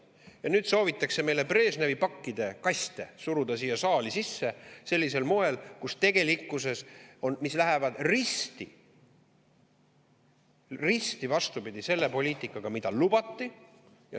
Ja nüüd soovitakse meile Brežnevi pakkide kaste siia saali sisse suruda sellisel moel, mis läheb risti vastupidi selle poliitikaga, mida lubati.